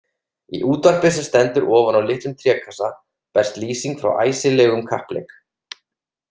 Í útvarpi sem stendur ofan á litlum trékassa berst lýsing frá æsilegum kappleik.